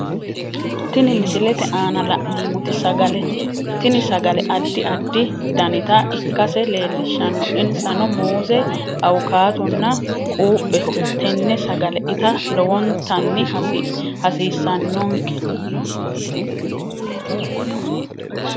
Tini misilete aana la'neemoti sagalete tini sagale addi addi danita ikkase leelishano insano muuze, awukaatonna quupheho tenne sagale ita lowontani hasiisannke